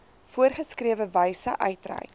voorgeskrewe wyse uitreik